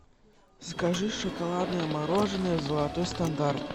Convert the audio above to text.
закажи шоколадное мороженое золотой стандарт